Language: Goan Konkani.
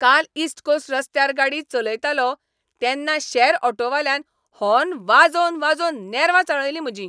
काल ईस्ट कोस्ट रस्त्यार गाडी चलयतालों तेन्ना शॅर ऑटोवाल्यान हॉर्न वाजोवन वाजोवन नॅर्वां चाळयलीं म्हजीं.